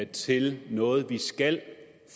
til noget vi skal